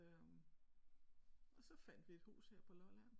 Øh og så fandt vi et hus her på Lolland